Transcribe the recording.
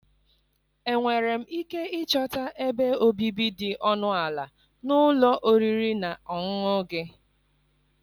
Enwere m ike ịchọta ebe obibi dị ọnụ ala na ụlọ oriri na ọṅụṅụ gị?